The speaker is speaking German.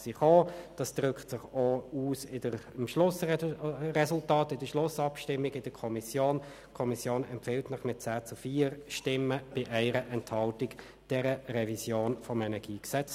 Bevor wir weiterfahren, begrüsse ich auf der Tribüne eine weitere Besuchergruppe.